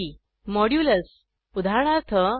160 modulus उदाहरणार्थ